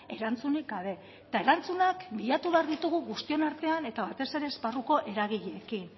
erantzunik gabe eta erantzunak bilatu behar ditugu guztion artean eta batez ere esparruko eragileekin